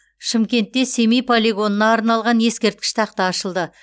шымкентте семей полигонына арналған ескерткіш тақта ашылды